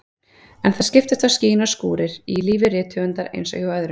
En það skiptast á skin og skúrir í lífi rithöfundar eins og hjá öðrum.